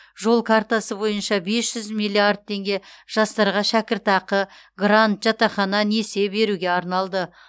жол картасы бойынша бес жүз миллиард теңге жастарға шәкіртақы грант жатақхана несие беруге арналды